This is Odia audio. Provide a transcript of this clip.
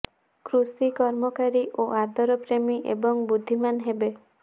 କୃଷି କର୍ମକାରୀ ଓ ଆଦର ପ୍ରେମୀ ଏବଂ ବୁଦ୍ଧିମାନ ହେବେ